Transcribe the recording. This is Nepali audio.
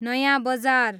नयाँ बजार